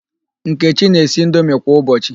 Nkechi na-esi indomi kwa ụbọchị.